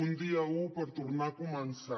un dia un per tornar a començar